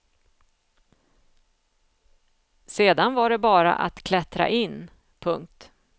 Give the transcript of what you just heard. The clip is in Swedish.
Sedan var det bara att klättra in. punkt